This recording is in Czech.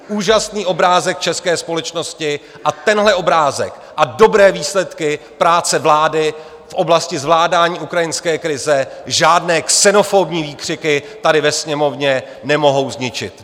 Úžasný obrázek české společnosti a tenhle obrázek a dobré výsledky práce vlády v oblasti zvládání ukrajinské krize žádné xenofobní výkřiky tady ve Sněmovně nemohou zničit.